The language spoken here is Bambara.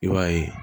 I b'a ye